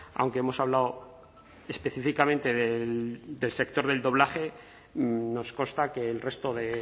aunque hemos hablado específicamente del sector del doblaje nos consta que el resto de